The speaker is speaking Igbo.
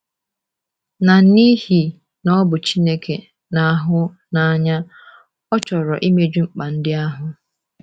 Na n’ihi na ọ bụ Chineke na-ahụ n’anya, ọ chọrọ imeju mkpa ndị ahụ.